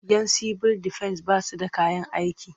Yan sibil defen ba su da kayan aiki.